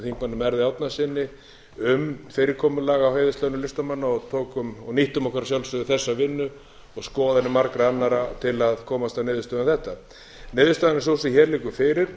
þingmanni merði árnasyni um fyrirkomulag á heiðurslaunum listamanna og nýttum okkur að sjálfsögðu þessa vinnu og skoðanir margra annarra til að komast að niðurstöðu um þetta niðurstaðan er sú sem hér liggur fyrir